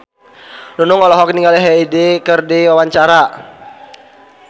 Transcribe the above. Nunung olohok ningali Hyde keur diwawancara